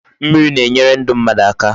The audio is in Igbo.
Mmiri na-enyere ndu mmadu aka